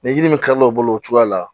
Ni yiri min kari la o bolo o cogoya la